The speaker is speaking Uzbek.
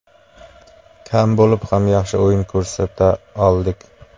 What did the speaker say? Kam bo‘lib ham yaxshi o‘yin ko‘rsata oldik.